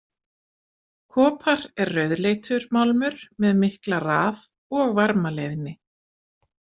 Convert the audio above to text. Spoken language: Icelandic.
Kopar er rauðleitur málmur með mikla raf- og varmaleiðni.